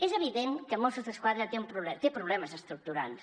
és evident que mossos d’esquadra té problemes estructurals